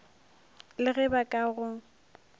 le ge ba ka go